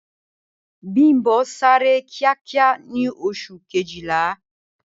Bím̀bọ́ sáré kíákíá ní Oṣù Kejìlá